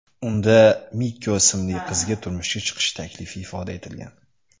Unda Mikko ismli qizga turmushga chiqish taklifi ifoda etilgan.